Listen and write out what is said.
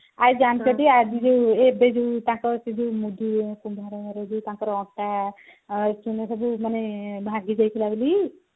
ଆଉ ଜାଣିଛ ଟି ଆଜି ଯୋଉ ଏବେ ଯୋଉ ତାଙ୍କର ସେ ଯୋଉ ସେ ଯୋଉ ତାଙ୍କର ଅଣ୍ଟା ଭାଙ୍ଗି ଯାଇଥିଲା ବୋଲି